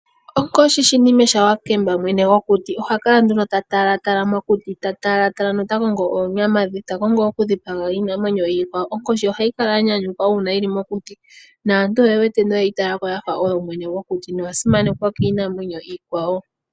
Onkoshi shinime shawakemba, mwene gokuti oha kala nduno ta talatala mokuti, ta talatala nota kongo oonyama dhe, ta kongo okudhipaga iinamwenyo iikwawo. Onkoshi ohayi kala ya nyanyukwa uuna yili mokuti naantu oye wete noye yi tala ko oyo mwene gokuti noya simanekwa kiinamwenyo iikwawo.